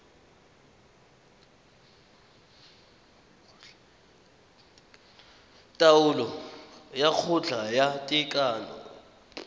taolo ya kgotla ya tekano